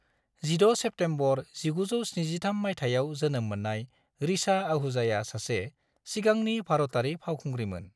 16 September 1973 मायथाइयाव जोनोम मोननाय ऋचा आहूजाया सासे सिगांनि भारतारि फावखुंग्रिमोन।